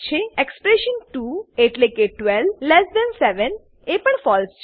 expression 2 એટલેકે 127 એ પણ ફળસે